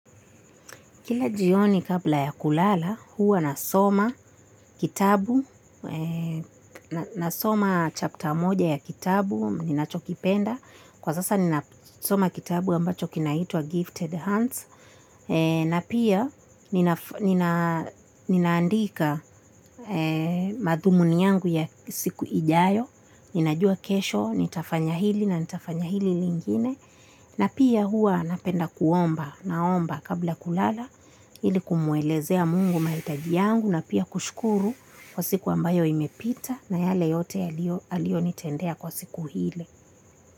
Kila jioni kabla ya kulala, huwa nasoma kitabu, nasoma chapter moja ya kitabu, ninachokipenda. Kwa sasa ninasoma kitabu ambacho kinaitwa Gifted Hands, na pia ninaandika madhumuni yangu ya siku ijayo, ninajua kesho, nitafanyahili na nitafanyahili lingine. Na pia huwa napenda kuomba naomba kabla kulala ilikumuelezea Mungu maitaji yangu na pia kushkuru kwa siku ambayo imepita na yale yote alionitendea kwa siku hile.